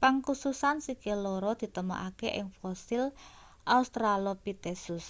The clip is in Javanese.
pangkususan sikil loro ditemokake ing fosil australopithecus